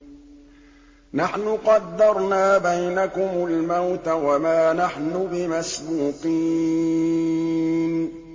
نَحْنُ قَدَّرْنَا بَيْنَكُمُ الْمَوْتَ وَمَا نَحْنُ بِمَسْبُوقِينَ